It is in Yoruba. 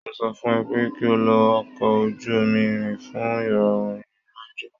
Mo sọ fún ẹ pé kí o lo ọkọ̀ ojú-irin fún ìrọ̀rùn ìrìn àjò